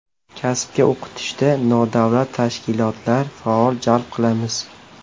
Kasbga o‘qitishda nodavlat tashkilotlar faol jalb qilamiz.